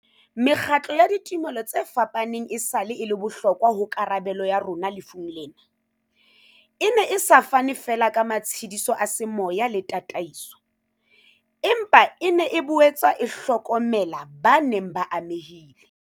Mekgatlo ya ditumelo tse fapaneng esale e le bohlokwa ho karabelo ya rona lefung lena, e ne e sa fane feela ka matshediso a semoya le ta taiso, empa e ne e boetse e hlokomela ba neng ba ame hile